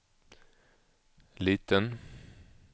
liten